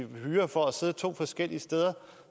hyre for at sidde to forskellige steder